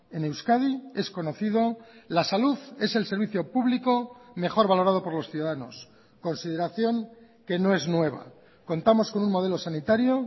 en euskadi es conocido la salud es el servicio público mejor valorado por los ciudadanos consideración que no es nueva contamos con un modelo sanitario